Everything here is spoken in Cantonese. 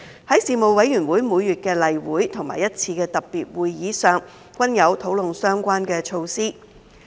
在事務委員會每月的例會及一次特別會議席上，均有討論相關措施。